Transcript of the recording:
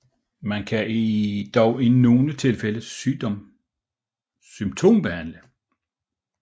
Man kan dog i nogle tilfælde symptombehandle